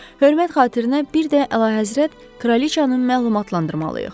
Hörmət xatirinə bir də Əlahəzrət kraliçanı məlumatlandırmalıyıq.